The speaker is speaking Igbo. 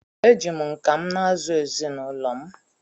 eji m nka m na-azụ ezinụlọ m